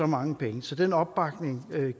mange penge så den opbakning